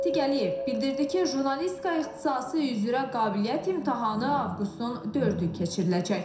Natiq Əliyev bildirdi ki, jurnalistika ixtisası üzrə qabiliyyət imtahanı avqustun 4-ü keçiriləcək.